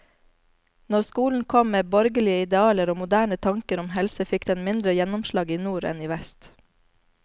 Når skolen kom med borgerlige idealer og moderne tanker om helse, fikk den mindre gjennomslag i nord enn i vest.